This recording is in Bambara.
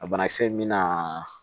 A banakisɛ mina